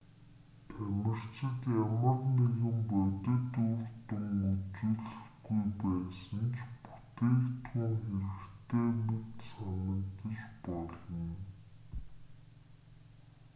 тамирчид ямар нэгэн бодит үр дүн үзүүлэхгүй байсан ч бүтээгдхүүн хэрэгтэй мэт санагдаж болно